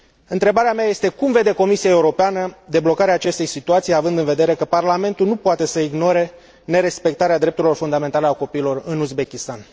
Întrebarea mea este Cum vede Comisia Europeană deblocarea acestei situații, având în vedere că Parlamentul nu poate să ignore nerespectarea drepturilor fundamentale ale copiilor în Uzbekistan?